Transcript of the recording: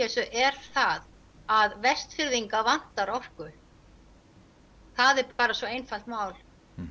þessu er það að Vestfirðinga vantar orku það er bara svo einfalt mál